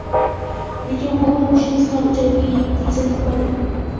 Lekin bu urinishimiz ham ijobiy yechim topmadi.